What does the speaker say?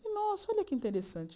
Nossa, olha que interessante.